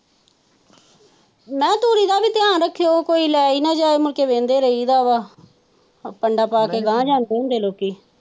ਨਾ ਧੁਰਿ ਦਾ ਵੀ ਧਿਆਨ ਰੱਖਿਓ ਕੋਈ ਲਾਏ ਨਾ ਜਾਏ ਮੁੜ ਕੇ ਵੇਂਹਦੇ ਰਾਹੀਂ ਦਾ ਹੈ ਕੰਡਾ ਪਾ ਕੇ ਗਾਹ ਜਾਂਦੇ ਹੁੰਦੇ ਲੋਕੀ।